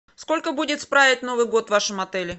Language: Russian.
сколько будет справить новый год в вашем отеле